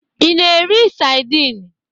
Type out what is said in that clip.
Ị na-eri saidin?